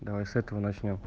давай с этого начнём